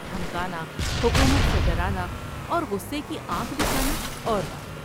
دھمکانا ، حکومت سے ڈرانا اور غصے کی آنکھ دکھا نا اور بات ہے ۔